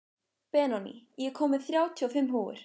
Benóný, ég kom með þrjátíu og fimm húfur!